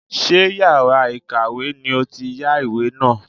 Ṣé yàrá ìkàwé ni ó ti yá ìwé náà.